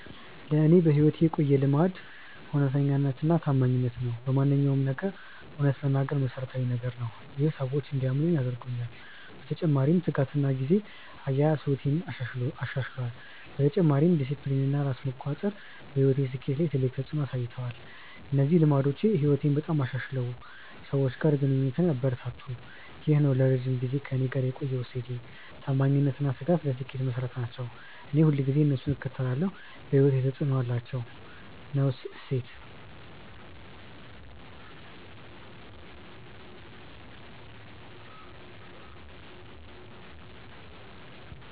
ለእኔ በሕይወቴ የቆየ ልማድ እውነተኛነትና ታማኝነት ነው። በማንኛውም ነገር እውነት መናገር መሠረታዊ ነገር ነው። ይህ ሰዎች እንዲያምኑኝ አድርጎኛል። በተጨማሪ ትጋትና ጊዜ አያያዝ ሕይወቴን አሻሽሏል። በተጨማሪም ዲሲፕሊን እና ራስ መቆጣጠር በሕይወቴ ስኬት ላይ ትልቅ ተፅዕኖ አሳይቷል። እነዚህ ልማዶች ሕይወቴን በጣም አሻሽለው ሰዎች ጋር ግንኙነቴን አበረታቱ። ይህ ነው ለረጅም ጊዜ ከእኔ ጋር የቆየ እሴት። ታማኝነት እና ትጋት ለስኬት መሠረት ናቸው። እኔ ሁልጊዜ እነሱን እከተላለሁ። በሕይወቴ ተፅዕኖ አላቸው።። ነው እሴት።